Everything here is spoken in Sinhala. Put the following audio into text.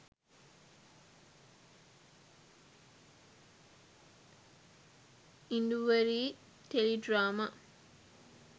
induwari teledrama